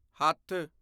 ਹੱਥ